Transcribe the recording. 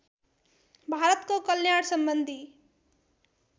भारतको कल्याण सम्बन्धी